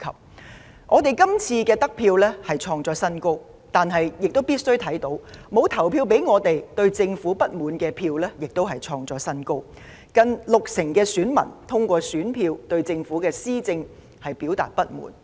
雖然我們這次的得票創新高，但必須承認的是，沒有投票給我們、對政府不滿的票數亦創新高，近六成選民通過選票對政府施政表達不滿。